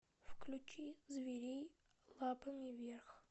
включи зверей лапами вверх